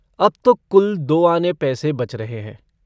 अब तो कुल दो आने पैसे बच रहे हैं।